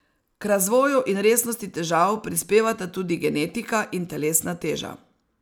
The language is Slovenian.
K razvoju in resnosti težav prispevata tudi genetika in telesna teža.